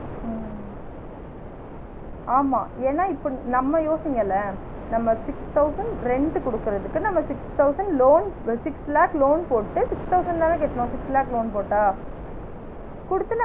ஆஹ் ஆமா ஏன்னா இப்ப நம்ம யோசிங்களேன் நம்ம six thousand rent குடுக்குறதுக்கு நம்ம six thousand loan, six lakh loan போட்டு six thousand தானே கட்டுனோம் six lakh loan போட்டா? குடுத்து